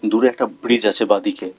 দূরে একটা ব্রীজ আছে বাঁদিকে।